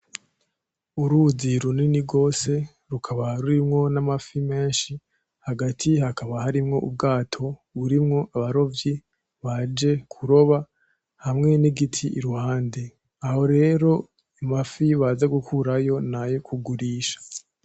Uruzi runini gose rukaba rurimwo n'amafi menshi hagati haka harimwo ubwato burimwo abarovyi baje kuroba hamwe n'igiti iruhande, aho rero amafi baza gukurayo nayo kugurisha.